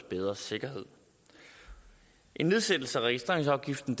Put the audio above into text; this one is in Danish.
bedre sikkerhed en nedsættelse af registreringsafgiften